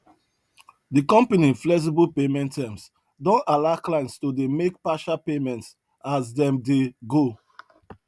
de company flexible payment terms don allow clients to dey make partial payments as dem dey go